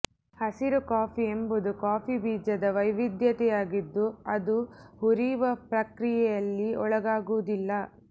ಹಸಿರು ಕಾಫಿ ಎಂಬುದು ಕಾಫಿ ಬೀಜದ ವೈವಿಧ್ಯತೆಯಾಗಿದ್ದು ಅದು ಹುರಿಯುವ ಪ್ರಕ್ರಿಯೆಯಲ್ಲಿ ಒಳಗಾಗುವುದಿಲ್ಲ